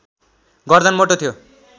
गर्दन मोटो थियो